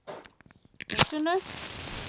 Húsinu